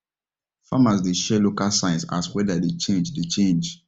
farmers dey share local signs as weather dey change dey change